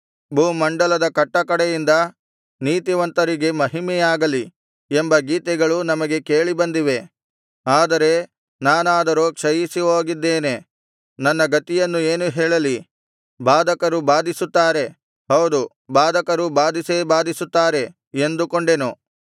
ಭೂಮಂಡಲದ ಕಟ್ಟಕಡೆಯಿಂದ ನೀತಿವಂತರಿಗೆ ಮಹಿಮೆಯಾಗಲಿ ಎಂಬ ಗೀತೆಗಳು ನಮಗೆ ಕೇಳಿ ಬಂದಿವೆ ಆದರೆ ನಾನಾದರೋ ಕ್ಷಯಿಸಿ ಹೋಗಿದ್ದೇನೆ ನನ್ನ ಗತಿಯನ್ನು ಏನು ಹೇಳಲಿ ಬಾಧಕರು ಬಾಧಿಸುತ್ತಾರೆ ಹೌದು ಬಾಧಕರು ಬಾಧಿಸೇ ಬಾಧಿಸುತ್ತಾರೆ ಎಂದುಕೊಂಡೆನು